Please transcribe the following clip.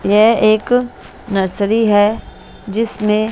यह एक नर्सरी है जिसमें--